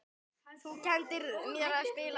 Þú kenndir mér að spila.